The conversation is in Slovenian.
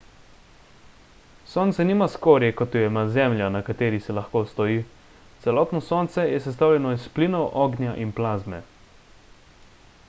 sonce nima skorje kot jo ima zemlja na kateri se lahko stoji celotno sonce je sestavljeno iz plinov ognja in plazme